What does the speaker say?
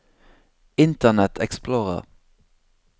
internet explorer